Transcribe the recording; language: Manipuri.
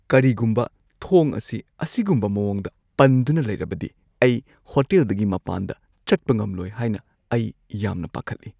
ꯀꯔꯤꯒꯨꯝꯕ ꯊꯣꯡ ꯑꯁꯤ ꯑꯁꯤꯒꯨꯝꯕ ꯃꯑꯣꯡꯗ ꯄꯟꯗꯨꯅ ꯂꯩꯔꯕꯗꯤ ꯑꯩ ꯍꯣꯇꯦꯜꯗꯒꯤ ꯃꯄꯥꯟꯗ ꯆꯠꯄ ꯉꯝꯂꯣꯏ ꯍꯥꯏꯅ ꯑꯩ ꯌꯥꯝꯅ ꯄꯥꯈꯠꯂꯤ꯫